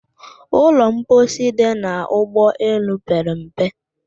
Ụlọ mposi dị n'ụgbọ elu pere mpe